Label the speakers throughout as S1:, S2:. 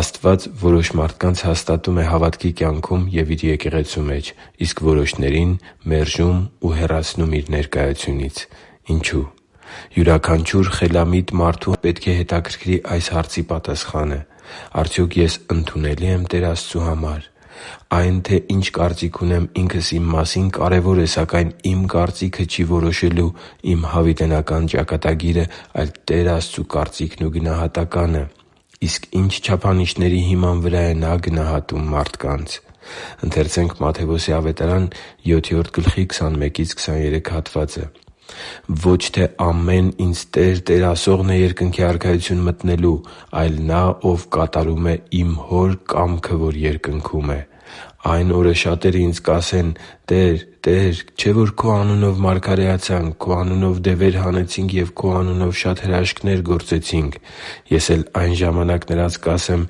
S1: Աստված որոշ մարդկանց հաստատում է հավատքի կյանքում և Իր եկեղեցու մեջ, իսկ որոշներին՝ մերժում ու հեռացնում Իր ներկայությունից։ Ինչո՞ւ։ Յուրաքանչյուր խելամիտ մարդու պետք է հետաքրքրի այս հարցի պատասխանը։ Արդյոք ես ընդունելի՞ եմ Տեր Աստծու համար։ Այն, թե ինչ կարծիք ունեմ ինքս իմ մասին, կարևոր է, սակայն իմ կարծիքը չի որոշելու իմ հավիտենական ճակատագիրը, այլ՝ Տեր Աստծու կարծիքն ու գնահատականը։ Իսկ ի՞նչ չափանիշների հիման վրա է Նա գնահատում մարդկանց։ «Ոչ թե ամեն Ինձ "Տե՛ր, Տե՛ր" ասողն է Երկնքի Արքայություն մտնելու, այլ նա, ով կատարում է Իմ Հոր կամքը, որ Երկնքում է։ Այն օրը շատերն ինձ կասեն. "Տե՛ր, Տե՛ր, չէ՞ որ Քո անունով մարգարեացանք, Քո անունով դևեր հանեցինք և Քո անունով շատ հրաշքներ գործեցինք"։ Ես էլ այն ժամանակ նրանց կհայտնեմ.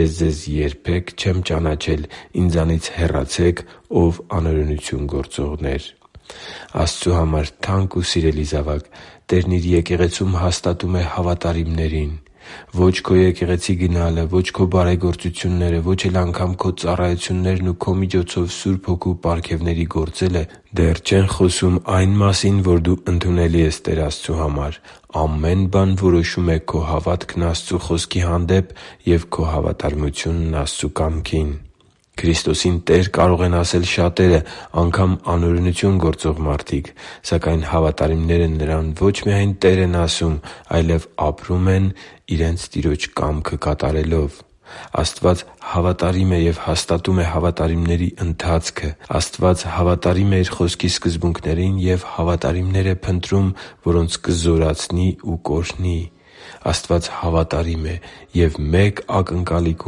S1: "Ես ձեզ երբեք չեմ ճանաչել. Ինձանից հեռացե՛ք, ո՛վ անօրենություն գործողներ» (Մատթեոս 7.21-23): Աստծու համար թանկ ու սիրելի՛ զավակ, Տերն Իր Եկեղեցում հաստատում է հավատարիմներին։ Ո՛չ քո եկեղեցի գնալը, ո՛չ քո բարեգործությունները, ո՛չ էլ անգամ ծառայություններն ու քո միջոցով Սուրբ Հոգու պարգևների գործելը դեռ չեն խոսում այն մասին, որ դու ընդունելի ես Տեր Աստծու համար։ Ամեն բան որոշում է քո հավատքն Աստծու Խոսքի հանդեպ և քո հավատարմությունն Աստծու կամքին։ Քրիստոսին «Տեր» կարող են ասել շատերը՝ անգամ անօրենություն գործող մարդիկ։ Սակայն հավատարիմները Նրան ոչ միայն «Տեր» են ասում, այլև ապրում են՝ իրենց Տիրոջ կամքը կատարելով։ Աստված հավատարիմ է և հաստատում է հավատարիմների ընթացքը։ Աստված հավատարիմ է Իր Խոսքի սկզբունքներին և հավատարիմներ է փնտրում, որոնց կզորացնի ու կօրհնի։ Աստված հավատարիմ է և մեկ ակնկալիք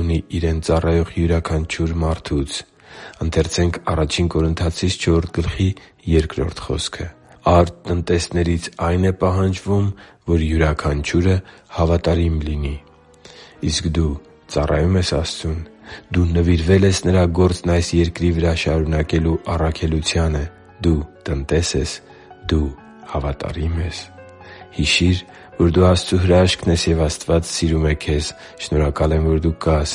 S1: ունի Իրեն ծառայող յուրաքանչյուր մարդուց․ «Արդ տնտեսներից այն է պահանջվում, որ յուրաքանչյուրը հավատարիմ լինի» (Ա Կորնթացիս 4․2): Իսկ դու ծառայո՞ւմ ես Աստծուն։ Դու նվիրվե՞լ ես Նրա գործն այս երկրի վրա շարունակելու առաքելությանը։ Դու տնտե՞ս ես։ Դու հավատարի՞մ ես․․․ Հիշի՛ր, որ դու Աստծո հրաշքն ես, և Աստված սիրում է քեզ։ Շնորհակալ եմ, որ դու կա՛ս։